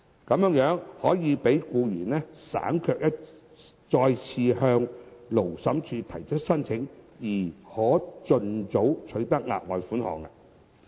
在這個安排下，僱員可無須再次向勞審處提出申請，而盡早取得額外款項。